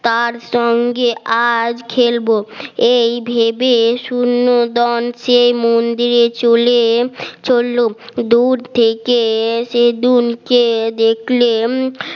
তার সঙ্গে আর খেলব এই ভেবে শূন্যদান সে মন্দিরে চলে চলল দূর থেকে সেলুনকে দেখলে